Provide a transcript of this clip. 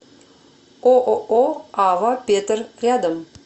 ооо ава петер рядом